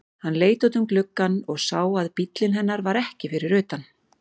Hann leit út um gluggann og sá að bíllinn hennar var ekki fyrir utan.